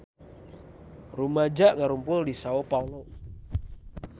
Rumaja ngarumpul di Sao Paolo